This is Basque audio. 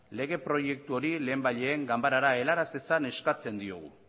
lege proiektu hori lehenbailehen ganbarara helaraz dezan eskatzen diogu